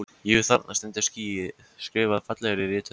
Jú, þarna stendur ský skrifað fallegri rithönd.